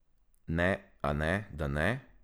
Ne, a ne, da ne?